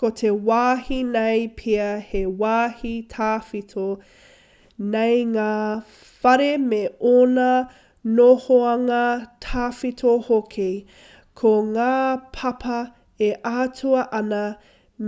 ko te wāhi nei pea he wāhi tawhito nei ngā whare me ōna nohoanga tawhito hoki ko ngā papa e ātaahua ana